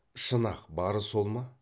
шын ақ бары сол ма